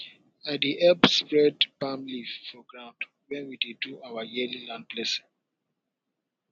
i dey help spread palm leaf for ground when we dey do our yearly land blessing